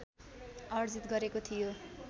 अर्जित गरेको थियो